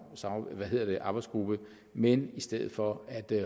sammensatte arbejdsgrupper men i stedet for